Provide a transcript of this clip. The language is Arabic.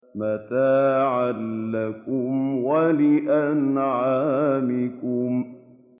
مَتَاعًا لَّكُمْ وَلِأَنْعَامِكُمْ